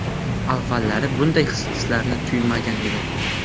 Avvallari bunday hislarni tuymagan edim.